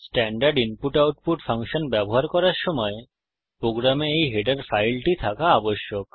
standard input output function ব্যবহার করার সময় প্রোগ্রামে এই হেডার ফাইলটি থাকা আবশ্যক